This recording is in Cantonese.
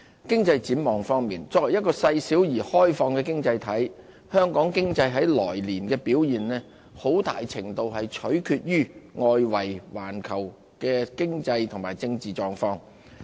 經濟展望方面，作為一個細小而開放的經濟體，香港經濟來年的表現很大程度取決於外圍環球的經濟和政治狀況。